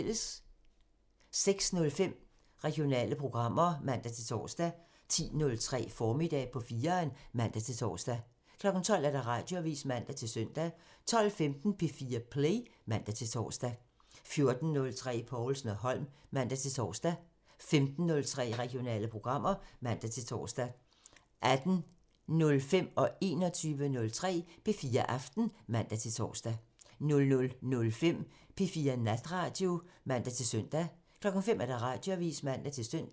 06:05: Regionale programmer (man-tor) 10:03: Formiddag på 4'eren (man-tor) 12:00: Radioavisen (man-søn) 12:15: P4 Play (man-tor) 14:03: Povlsen & Holm (man-tor) 15:03: Regionale programmer (man-tor) 18:05: P4 Aften (man-tor) 21:03: P4 Aften (man-søn) 00:05: P4 Natradio (man-søn) 05:00: Radioavisen (man-søn)